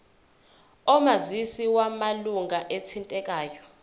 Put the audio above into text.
omazisi wamalunga athintekayo